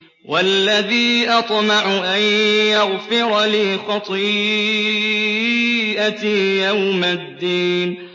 وَالَّذِي أَطْمَعُ أَن يَغْفِرَ لِي خَطِيئَتِي يَوْمَ الدِّينِ